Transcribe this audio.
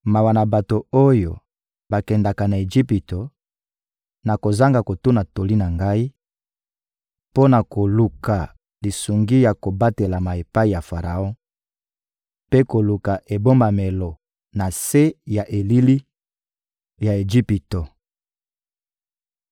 mawa na bato oyo bakendaka na Ejipito, na kozanga kotuna toli na Ngai, mpo na koluka lisungi ya kobatelama epai ya Faraon mpe koluka ebombamelo na se ya elili ya Ejipito!